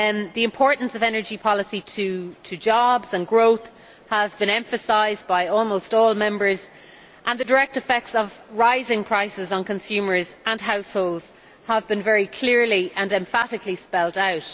The importance of energy policy to jobs and growth has been emphasised by almost all Members, and the direct effects of rising prices on consumers and households have been very clearly and emphatically spelled out.